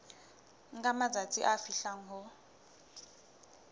nka matsatsi a fihlang ho